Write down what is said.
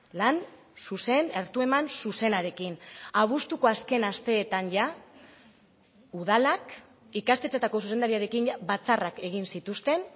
lan zuzen hartu eman zuzenarekin abuztuko azken asteetan ja udalak ikastetxeetako zuzendariarekin batzarrak egin zituzten